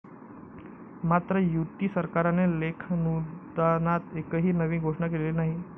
मात्र, युती सरकारने लेखानुदानात एकही नवी घोषणा केलेली नाही.